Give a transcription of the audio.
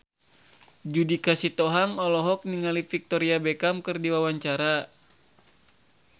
Judika Sitohang olohok ningali Victoria Beckham keur diwawancara